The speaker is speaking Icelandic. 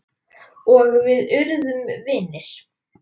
Og við urðum vinir.